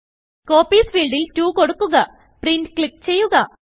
Copiesഫീൽഡിൽ2കൊടുക്കുക print click ചെയ്യുക